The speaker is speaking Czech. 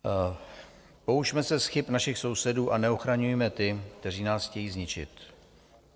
Poučme se z chyb našich sousedů a neochraňujme ty, kteří nás chtějí zničit.